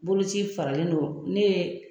Boloci faralen don, ne ye